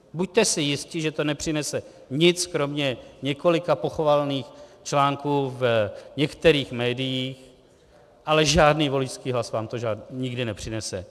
Buďte si jisti, že to nepřinese nic kromě několika pochvalných článků v některých médiích, ale žádný voličský hlas vám to nikdy nepřinese.